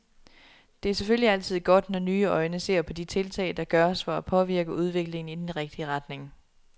Det er selvfølgelig altid godt, når nye øjne ser på de tiltag, der gøres for at påvirke udviklingen i den rigtige retning.